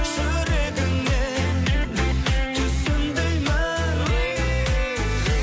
жүрегіңмен түсін деймін